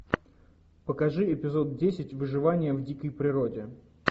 покажи эпизод десять выживание в дикой природе